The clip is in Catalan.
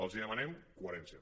els demanem coherència